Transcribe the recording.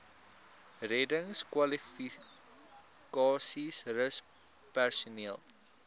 reddingskwalifikasies rus personeel